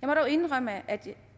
jeg må dog indrømme at